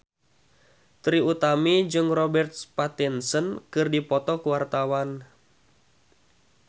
Trie Utami jeung Robert Pattinson keur dipoto ku wartawan